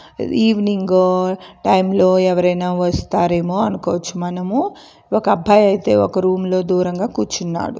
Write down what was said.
Evening time లో ఎవరైనా వస్తారేమో అనుకోవచ్చు మనము. ఒక అబ్బాయి అయితే ఒక రూమ్ లో దూరంగా కూర్చున్నాడు.